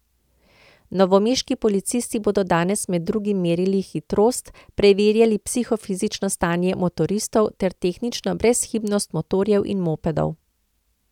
Novomeški policisti bodo danes med drugim merili hitrost, preverjali psihofizično stanje motoristov ter tehnično brezhibnost motorjev in mopedov.